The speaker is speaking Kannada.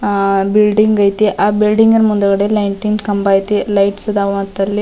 ಆ ಬಿಲ್ಡಿಂಗ್ ಐತಿ ಆ ಬಿಲ್ಡಿಂಗ್ ನ ಮುಂದ್ಗಡೆ ಲೈಟಿಂಗ್ ಕಂಬ ಐತಿ ಲೈಟ್ಸ್ ಅದಾವ ಅಂತ ಅಲ್ಲಿ .